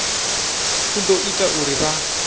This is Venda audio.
u ḓo ita uri vha